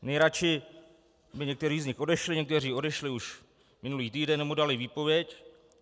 Nejradši by někteří z nich odešli, někteří odešli už minulý týden, nebo dali výpověď.